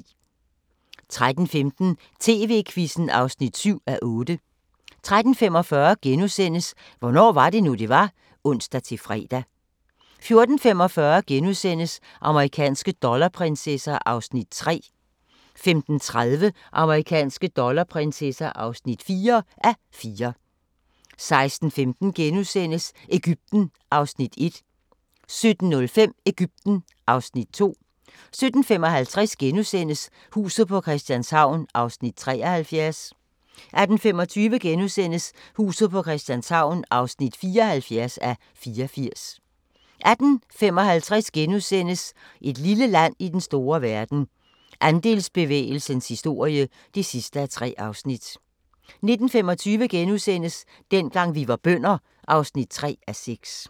13:15: TV-Quizzen (7:8) 13:45: Hvornår var det nu, det var? *(ons-fre) 14:45: Amerikanske dollarprinsesser (3:4)* 15:30: Amerikanske dollarprinsesser (4:4) 16:15: Egypten (Afs. 1)* 17:05: Egypten (Afs. 2) 17:55: Huset på Christianshavn (73:84)* 18:25: Huset på Christianshavn (74:84)* 18:55: Et lille land i den store verden – Andelsbevægelsens historie (3:3)* 19:25: Dengang vi var bønder (3:6)*